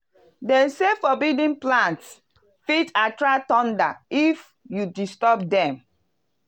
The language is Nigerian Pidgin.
them say forbidden plants fit attract thunder if you disturb them.